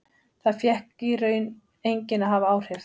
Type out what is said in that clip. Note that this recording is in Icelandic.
Það fékk í raun enginn að hafa áhrif.